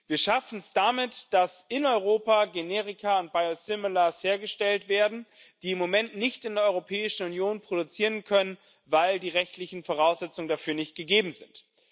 Wir schaffen damit, dass in Europa Generika und Biosimilars hergestellt werden, die wir im Moment nicht in der Europäischen Union produzieren können, weil die rechtlichen Voraussetzungen dafür nicht gegeben sind.